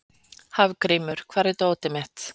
Hafgrímur, hvar er dótið mitt?